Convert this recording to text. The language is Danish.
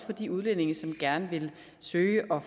for de udlændinge som gerne vil søge om